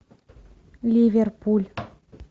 ливерпуль